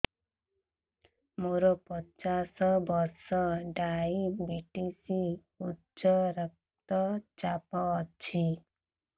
ମୋର ପଚାଶ ବର୍ଷ ଡାଏବେଟିସ ଉଚ୍ଚ ରକ୍ତ ଚାପ ଅଛି